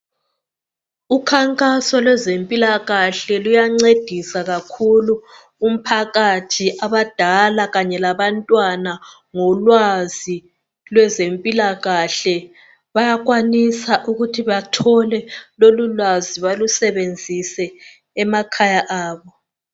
Ukhankaso lwezempilakahle luyancedisa kakhulu abadala kanye labantwana ngolwazi lwezempilakahle bayakwanisa ukuthi bathole lolulwazi balusebenzise emakhaya abo.